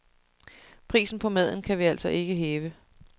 Prisen på maden kan vi altså ikke hæve.